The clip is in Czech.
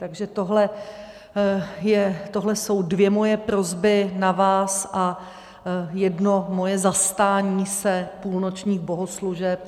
Takže tohle jsou dvě moje prosby na vás a jedno moje zastání se půlnočních bohoslužeb.